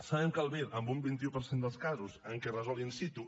sabem que el vir en un vint un per cent dels casos en què es resol in situ